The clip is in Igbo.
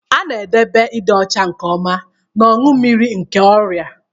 A na-edobe ịdị ọcha nke ọma n'ọnụ mmiri nke ọrịa.